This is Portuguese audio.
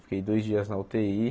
Fiquei dois dias na ú tê í.